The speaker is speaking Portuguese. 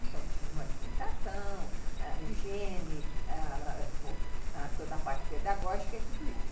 Então, tinham alimentação, ãh, higiene, toda a parte pedagógica e tudo isso.